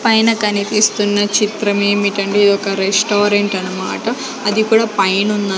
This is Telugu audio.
పైన కనిపిస్తున్న చిత్రం ఏమిటంటే ఈ యొక్క రెస్టారెంట్ అన్నమాట అది కూడా పైనున్న--